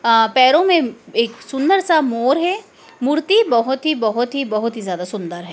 अह पैरों मे एक सुंदर सा मोर है मूर्ति बहोत ही बहोत ही बहोत ही ज़्यादा सुंदर है।